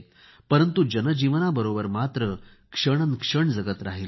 परंतु जनजीवनाबरोबर मात्र क्षणोक्षणी जगत राहिले